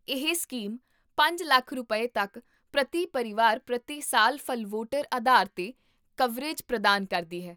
ਇਹ ਸਕੀਮ ਪੰਜ ਲੱਖ ਰੁਪਏ, ਤੱਕ ਪ੍ਰਤੀ ਪਰਿਵਾਰ ਪ੍ਰਤੀ ਸਾਲ ਫ਼ਲਵੋਟਰ ਆਧਾਰ 'ਤੇ ਕਵਰੇਜ ਪ੍ਰਦਾਨ ਕਰਦੀ ਹੈ